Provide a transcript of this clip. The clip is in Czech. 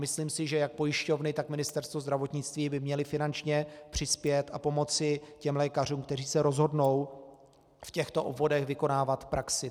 Myslím si, že jak pojišťovny, tak Ministerstvo zdravotnictví by měly finančně přispět a pomoci těm lékařům, kteří se rozhodnou v těchto obvodech vykonávat praxi.